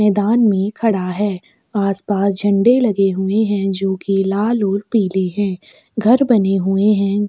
मैदान में खड़ा है आसपास झंडे लगे हुए है जो की लाल और पीले है घर बने हुए है।